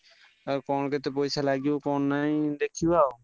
ଆଉ କଣ କେତେ ପଇସା ଲାଗିବ କଣ ନାହିଁ ଦେଖିବା ଆଉ।